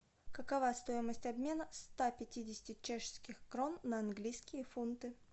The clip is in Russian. какова стоимость обмена ста пятидесяти чешских крон на английские фунты